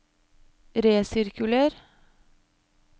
resirkuler